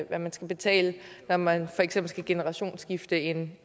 at man skal betale når man for eksempel skal generationsskifte en